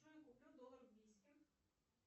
джой куплю доллар в бийске